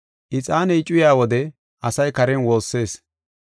Ixaaney cuyaa wode asay karen woossees.